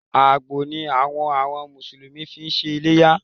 Àgbò ni àwọn àwọn Mùsùlùmí fi ń ṣe iléyá